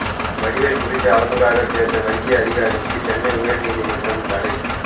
வடிவேலு குறித்து அவதூறாகப் பேச வங்கி அதிகாரிக்கு சென்னை உயர்நீதிமன்றம் தடை